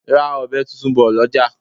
Ra ọbẹ tuntun bò lọjà!